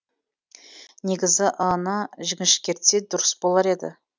негізі ы ны жіңішкертсе дұрыс болар еді